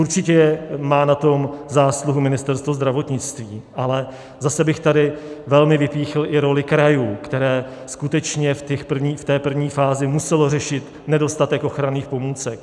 Určitě na tom má zásluhu Ministerstvo zdravotnictví, ale zase bych tady velmi vypíchl i roli krajů, které skutečně v té první fázi musely řešit nedostatek ochranných pomůcek.